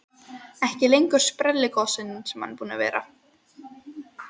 Ekki lengur sprelligosinn sem hann var búinn að vera.